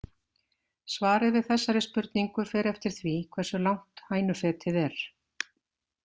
Svarið við þessari spurningu fer eftir því hversu langt hænufetið er.